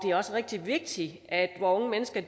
er også rigtig vigtigt at vore unge mennesker